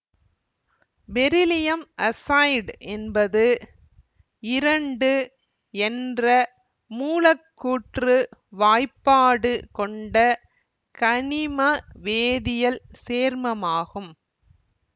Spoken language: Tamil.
பெரிலியம் அசைடு என்பது இரண்டு என்ற மூலக்கூற்று வாய்ப்பாடு கொண்ட கனிம வேதியல் சேர்மமாகும்